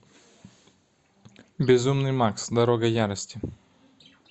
безумный макс дорога ярости